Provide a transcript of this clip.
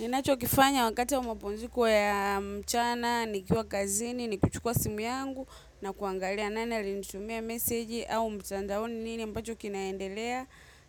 Ninachokifanya wakati wa mapumziko ya mchana, nikiwa kazini, ni kuchukua simu yangu na kuangalia nani alinitumia meseji au mtandaoni nini ambacho kinaendelea